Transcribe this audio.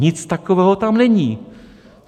Nic takového tam není.